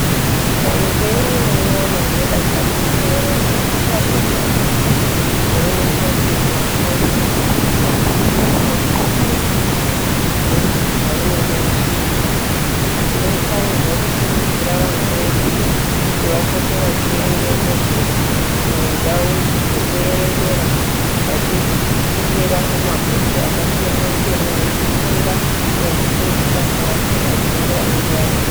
Ukange uri mwana unodakarire kuerenga kashomani kuzooneka uchizi wafoira. Kazhinji kacho muzvidzidzo zvaunenge uchiita. Tinofanirwa kukurudzira vana vedu kuti vapote vachienda mundau dzekuerengera vachikumbirana mabhuku akasiyana siyana vechifunda nekufundiswa zvasingazii ngevanenge varimwo.